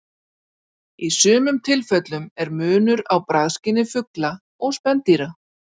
Í sumum tilfellum er munur á bragðskyni fugla og spendýra.